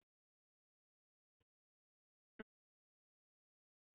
Dýpkun hefur gengið vel að undanförnu